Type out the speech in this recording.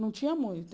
Não tinha muito.